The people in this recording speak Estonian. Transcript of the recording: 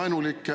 Teie küsimus!